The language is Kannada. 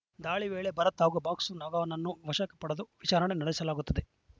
ದಾಳಿ ವೇಳೆ ಭರತ್‌ ಹಾಗೂ ಬಾಕ್ಸ ನಗನನ್ನು ವಶಕ್ಕ ಪಡೆದು ವಿಚಾರಣೆ ನಡೆಸಲಾಗುತ್ತಿದೆ